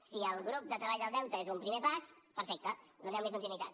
si el grup de treball del deute és un primer pas perfecte donem li continuïtat